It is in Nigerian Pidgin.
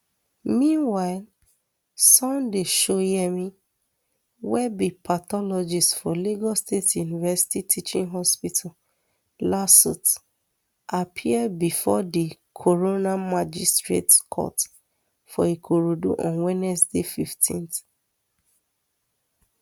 meanwhile sunday shoyemi wey be pathologist for lagos state university teaching hospital lasuth appear bifor di coroner magistrate court for ikorodu on wednesday fifteen